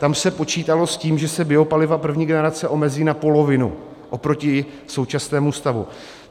Tam se počítalo s tím, že se biopaliva první generace omezí na polovinu oproti současnému stavu.